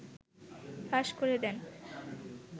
ফাঁস করে দেন